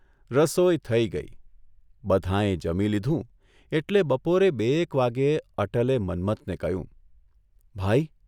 રસોઇ થઇ ગઈ, બધાંએ જમી લીધું એટલે બપોરે બે એક વાગ્યે અટલે મન્મથને કહ્યું, ' ભાઇ!